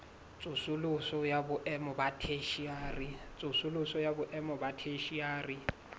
tsosoloso ya boemo ba theshiari